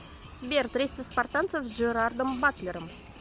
сбер триста спартанцев с джерардом батлером